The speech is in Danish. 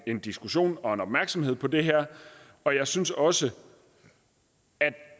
en diskussion og en opmærksomhed på det her og jeg synes også at